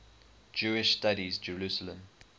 jewish studies jerusalem